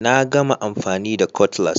Na gama amfani da Cutlass